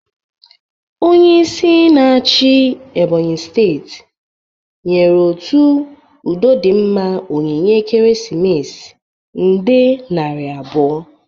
Onyeisi na-achi steeti Ebonyi nyere otu udodịmma onyinye ekeresimesi nde nari abụo.